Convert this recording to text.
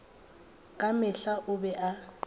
ka mehla o be a